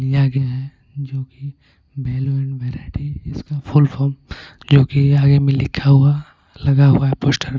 लिया गया है जो कि वैल्यू एंड वैरायटी इसका फुल फॉर्म जो कि आगे में लिखा हुआ लगा हुआ है पोस्टर